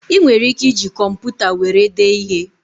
Ị nwere ike iji kọmputa were dee ihe